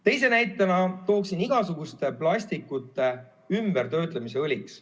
Teise näitena tooksin igasuguste plastikute töötlemise õliks.